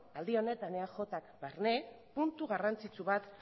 aldi honetan eajk barne puntu garrantzitsu bat